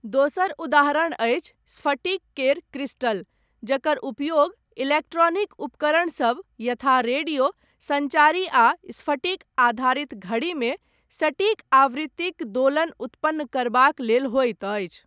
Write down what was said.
दोसर उदाहरण अछि स्फटिक केर क्रिस्टल, जकर उपयोग इलेक्ट्रॉनिक उपकरण सब, यथा रेडियो, सञ्चारी आ स्फटिक आधारित घड़ीमे, सटीक आवृत्तिक दोलन उत्पन्न करबाक लेल होइत अछि।